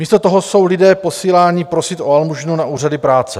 Místo toho jsou lidé posíláni prosit o almužnu na úřady práce.